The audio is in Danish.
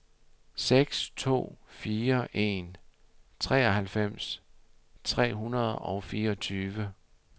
seks to fire en treoghalvfems tre hundrede og fireogtyve